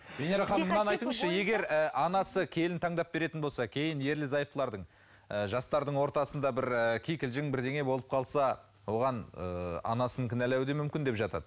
венера ханым мынаны айтыңызшы егер ы анансы келін таңдап беретін болса кейін ерлі зайыптардың ы жастардың ортасында бір кикілжің бірдеңе болып қалса оған ы анасын кінәлауы да мүмкін деп жатады